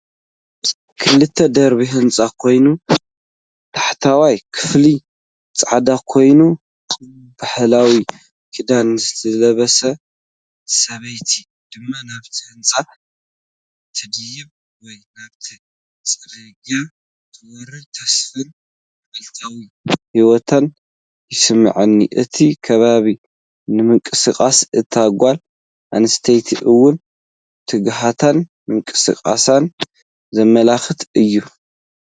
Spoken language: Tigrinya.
ክልተ ደርቢ ህንጻ ኮይኑ፡ ታሕተዋይ ክፋሉ ጻዕዳ ኮይኑ፡ ባህላዊ ክዳን ዝለበሰት ሰበይቲ ድማ ናብቲ ህንጻ ትድይብ ወይ ናብቲ ጽርግያ ትወርድ። ተስፋን መዓልታዊ ህይወትን ይስምዓኒ። እቲ ከባቢን ምንቅስቓስ እታ ጓል ኣንስተይትን እውን ትግሃትን ምንቅስቓስን ዘመልክት እዩ።